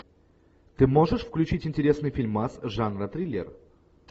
ты можешь включить интересный фильмас жанра триллер